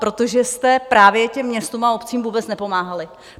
Protože jste právě těm městům a obcím vůbec nepomáhali.